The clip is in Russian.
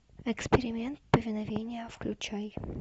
эксперимент повиновения включай